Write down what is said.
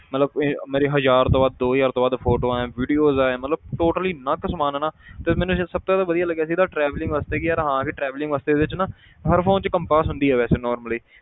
ਮਤਲਬ ਇਹ ਮੇਰੀ ਹਜ਼ਾਰ ਤੋਂ ਵੱਧ ਦੋ ਹਜ਼ਾਰ ਤੋਂ ਵੱਧ photos ਹੈ videos ਹੈ ਮਤਲਬ totaly ਇੰਨਾ ਕੁ ਸਮਾਨ ਹੈ ਨਾ ਤੇ ਮੈਨੂੰ ਜੋ ਸਭ ਤੋਂ ਜ਼ਿਆਦਾ ਵਧੀਆ ਲੱਗਿਆ ਸੀ ਇਹਦਾ traveling ਵਾਸਤੇ ਕਿ ਯਾਰ ਹਾਂ ਕਿ traveling ਵਾਸਤੇ ਇਹਦੇ 'ਚ ਨਾ ਹਰ phone 'ਚ compass ਹੁੰਦੀ ਹੈ ਵੈਸੇ normally